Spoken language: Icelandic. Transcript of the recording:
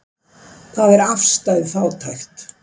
Hvað er afstæð fátækt?